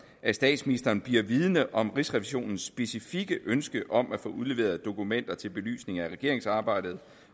at statsministeren bliver vidende om rigsrevisionens specifikke ønske om at få udleveret dokumenter til belysning af regeringsarbejdet